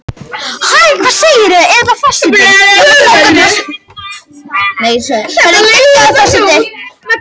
Þær deilur leiddu sem kunnugt er til danskrar verslunareinokunar.